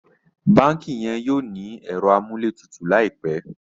bánkì yen yóò ní Ẹ̀rọ amúlétutù láìpé